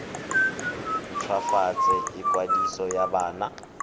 nt hwafatse ikwadiso ya bona